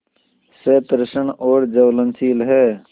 सतृष्ण और ज्वलनशील है